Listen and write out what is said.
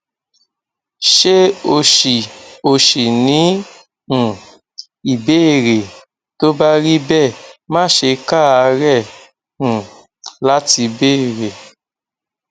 ṣé o ṣì o ṣì ní um ìbéèrè tó bá rí bẹẹ má ṣe káàárẹ um láti béèrè